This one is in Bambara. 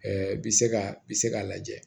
bi se ka bi se k'a lajɛ